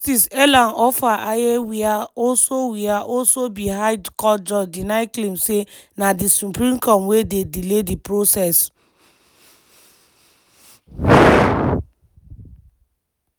justice ellen ofer-ayeh wia also wia also be high court judge deny claims say na di supreme court wey dey delay di process.